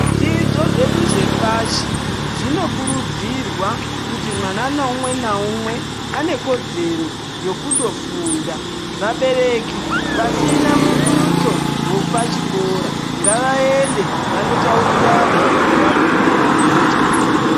Zvidzidzo zvedu zvepashi zvinokurudzirwa kuti mwana naumwe naumwe anekudzero yekundo funda vabereki vasina mudutso wepachikora ngavaende vanotaurirana nevamukuru vepachikora.